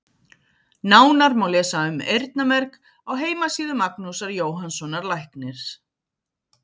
Nánar má lesa um eyrnamerg á heimasíðu Magnúsar Jóhannssonar læknis.